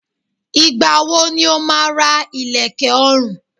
Ìgbà wo ni o máa ra ilẹ̀kè ọrùn?